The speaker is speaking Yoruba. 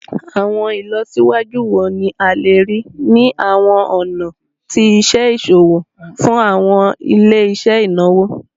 Awọn ilọsiwaju wo ni a le rii ni awọn ọna ti iṣe iṣowo fun awọn ile-iṣẹ inawo?